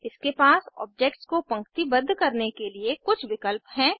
इसके पास ऑब्जेक्ट्स को पंक्तिबद्ध करने के लिए कुछ विकल्प हैं